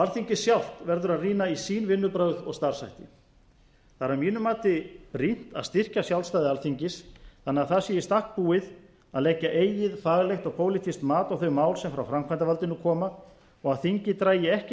alþingi sjálft verður að rýna í sín vinnubrögð og starfshætti það er að mínu mati brýnt að styrkja sjálfstæði alþingis þannig að það sé í stakk búið að leggja eigið faglegt og pólitískt mat á þau mál sem frá framkvæmdarvaldinu koma og að þingið dragi ekki